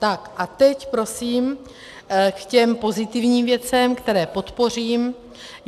Tak a teď prosím k těm pozitivním věcem, které podpořím.